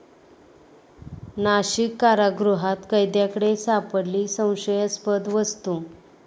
नाशिक कारागृहात कैद्याकडे सापडली संशयास्पद वस्तू!